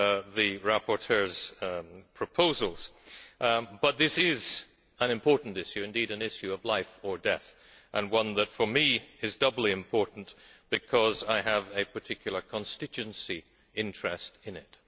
the rapporteur's proposals. But this is an important issue, indeed an issue of life or death, and one that for me is doubly important because I have a particular constituency interest in it.